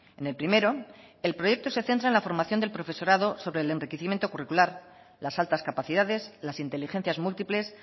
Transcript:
en el primero el proyecto se centra en la formación del profesorado sobre el enriquecimiento curricular las altas capacidades las inteligencias múltiples